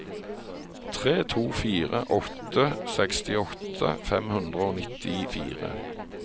tre to fire åtte sekstiåtte fem hundre og nittifire